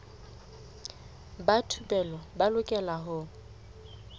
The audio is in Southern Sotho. ba thupelo ba lokela ho